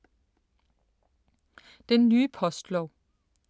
Den nye postlov